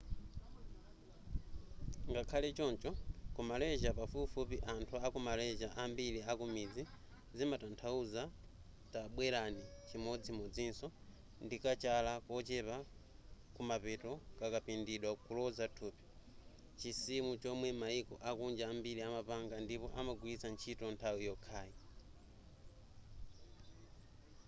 ngakhale choncho ku malysia pafupifupi anthu a ku malysia ambiri akumidzi zimatathauza tabwerani chimodzimodzinso ndikachala kochepa kumapeto kakapindidwa kuloza thupi chisimu chomwe mayiko akunja ambiri amapanga ndipo amagwilitsa ntchito nthawi yokhayi